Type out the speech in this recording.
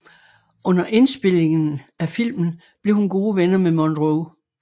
Under indspilningen af filmen blev hun gode venner med Monroe